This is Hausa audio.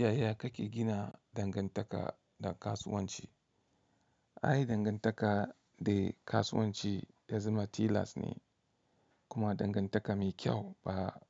Yaya kake gina dangantaka da kasuwanci? Ai, dangantaka da kasuwanci ya zama tilas ne, kuma dangantaka mai kyau ba